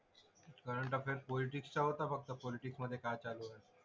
Current affair पॉलिटिक्सचा होता फक्त. पॉलिटिक्स मधे काय चालू आहे.